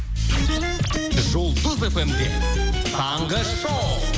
жұлдыз фм де таңғы шоу